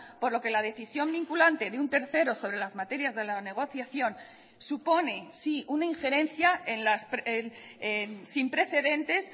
por lo que la decisión vinculante de un tercero sobre las materias de la negociación supone sí una injerencia sin precedentes